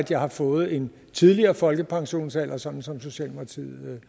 jeg har fået en tidligere folkepensionsalder sådan som socialdemokratiet